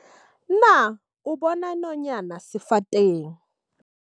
Na o bona nonyana sefateng?